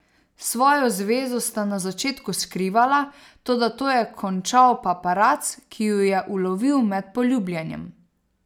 Svojo zvezo sta na začetku skrivala, toda to je končal paparac, ki ju je ulovil med poljubljanjem.